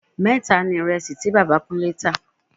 Mẹ́ta ni àpò ìrẹsì tí Bàbá Kúnlé tá